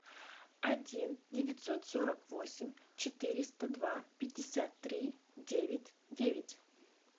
один девятьсот сорок восемь четыреста два пятьдесят три девять девять